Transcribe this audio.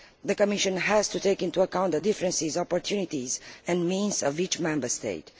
The Commission has to take into account the differences, opportunities and means of each Member State.